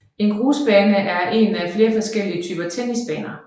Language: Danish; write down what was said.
En grusbane er en af flere forskellige typer tennisbaner